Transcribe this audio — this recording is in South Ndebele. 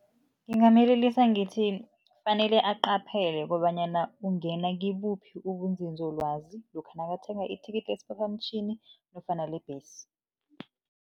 Ngingamyelelisa ngithi kufanele aqaphele kobanyana ungena kibuphi ubunzinzolwazi, lokha nakathenga ithikithi lesiphaphamtjhini nofana lebhesi.